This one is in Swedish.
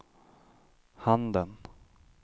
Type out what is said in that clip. handen